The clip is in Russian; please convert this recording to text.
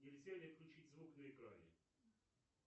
нельзя ли отключить звук на экране